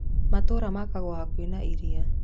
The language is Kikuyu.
Matũũra makagwo hakuhĩ na iria.